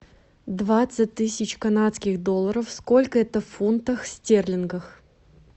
двадцать тысяч канадских долларов сколько это в фунтах стерлингов